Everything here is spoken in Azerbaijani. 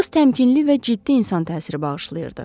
Qız təmkinli və ciddi insan təsiri bağışlayırdı.